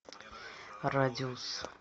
радиус